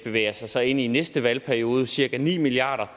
bevæger sig så ind i næste valgperiode cirka ni milliard